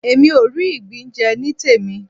Èmi ò rí ìgbín jẹ nítèmí.